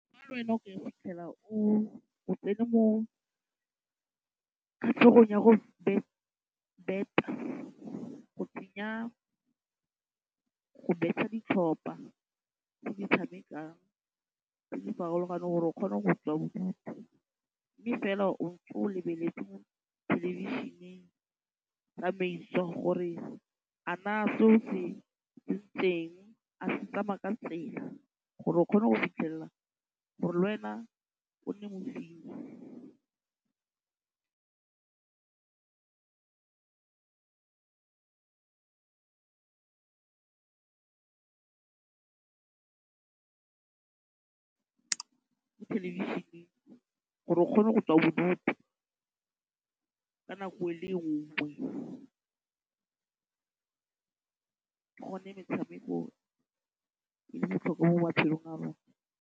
Fa le wena o ka fitlhela o tsene mo kgatlhegong ya go beta, go tsenya go beta ditlhopa tse di tshamekang tse di farologaneng gore o kgone go tswa bodutu mme fela o ntse o lebeletse mo thelebišeneng tsamaiso gore a naa se o se tsentseng a se tsamaya ka tsela gore o kgone go fitlhelela gore le wena o nne mo thelebišeneng gore o kgone go tswa bodutu ka nako e le nngwe. Gone metshameko e le botlhokwa mo matshelong a rona.